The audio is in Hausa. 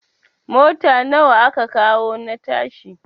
Mota nawa aka kawo na yashi?